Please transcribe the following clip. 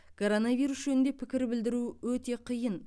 коронавирус жөнінде пікір білдіру өте қиын